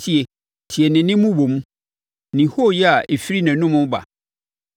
Tie! Tie ne nne mmobom, ne hooyɛ a ɛfiri nʼanom reba.